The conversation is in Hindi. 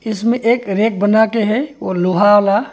इसमें एक रेक बनाके है वो लोहा आला ।